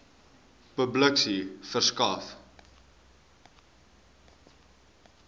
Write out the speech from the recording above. publikasie verskaf